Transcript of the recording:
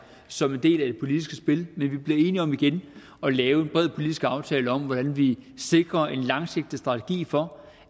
som en del af det politiske spil men at vi bliver enige om igen at lave en bred politisk aftale om hvordan vi sikrer en langsigtet strategi for